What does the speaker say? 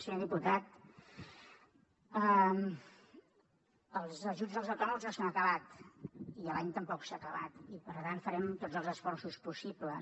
senyor diputat els ajuts als autònoms no s’han acabat i l’any tampoc s’ha acabat i per tant farem tots els esforços possibles